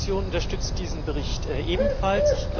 Meine Fraktion unterstützt diesen Bericht ebenfalls.